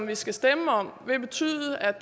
vi skal stemme om vil betyde at